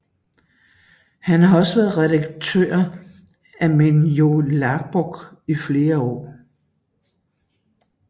Han har også været redaktør af Mín jólabók i flere år